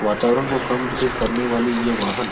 वातावरण को कम दूषित करने वाली ये वाहन --